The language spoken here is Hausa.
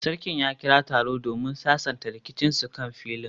Sarkin ya kira taro domin sasanta rikicinsu kan filin